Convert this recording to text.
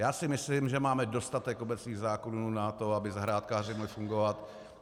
Já si myslím, že máme dostatek obecných zákonů na to, aby zahrádkáři mohli fungovat.